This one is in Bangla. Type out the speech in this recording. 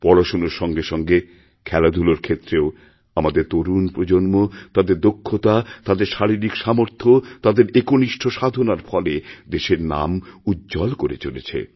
পড়াশোনার সঙ্গে সঙ্গে খেলাধুলার ক্ষেত্রেওআমাদের তরুণ প্রজন্ম তাদের দক্ষতা তাদের শারীরিক সামর্থ্য তাদের একনিষ্ঠ সাধনারফলে দেশের নাম উজ্জ্বল করে চলেছে